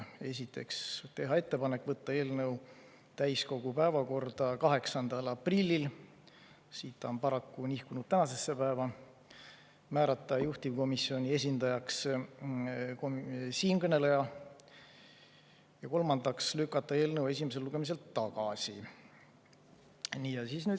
Esiteks, teha ettepanek võtta eelnõu täiskogu päevakorda 8. aprillil, kuid see on paraku nihkunud tänasesse päeva, määrata juhtivkomisjoni esindajaks siinkõneleja, ja kolmandaks, lükata eelnõu esimesel lugemisel tagasi.